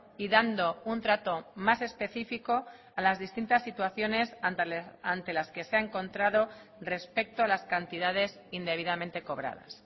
y dando un trato más específico a las distintas situaciones ante las que se ha encontrado respecto a las cantidades indebidamente cobradas